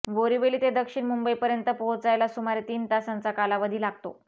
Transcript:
बोरीवली ते दक्षिण मुंबईपर्यंत पोहोचायला सुमारे तीन तासांचा कालावधी लागतो